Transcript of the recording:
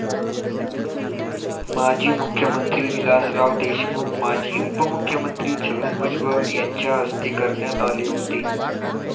माजी मुख्यमंत्री विलासराव देशमुख, माजी उपमुख्यमंत्री छगन भुजबळ यांच्या हस्ते करण्यात आले होते.